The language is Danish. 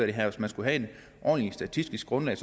det her hvis man skulle have et ordentligt statistisk grundlag